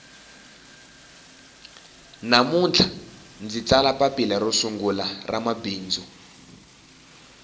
namuntlha ndzi tsala papila ro sungula ra mabindzu